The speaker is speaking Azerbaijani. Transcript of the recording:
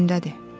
Yerindədir.